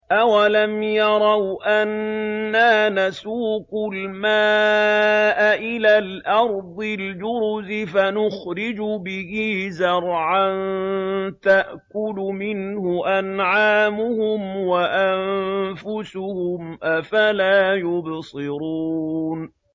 أَوَلَمْ يَرَوْا أَنَّا نَسُوقُ الْمَاءَ إِلَى الْأَرْضِ الْجُرُزِ فَنُخْرِجُ بِهِ زَرْعًا تَأْكُلُ مِنْهُ أَنْعَامُهُمْ وَأَنفُسُهُمْ ۖ أَفَلَا يُبْصِرُونَ